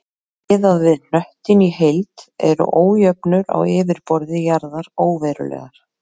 Miðað við hnöttinn í heild eru ójöfnur á yfirborði jarðar óverulegar.